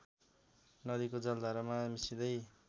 नदीको जलधारामा मिसिँदै